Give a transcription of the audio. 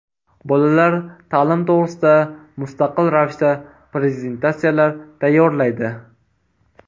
Bolalar ta’lim to‘g‘risida mustaqil ravishda prezentatsiyalar tayyorlaydi.